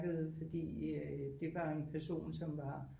Fordi det var en person som var